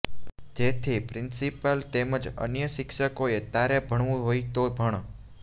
જેથી પ્રિન્સીપાલ તેમજ અન્ય શિક્ષકોએ તારે ભણવું હોય તો ભણ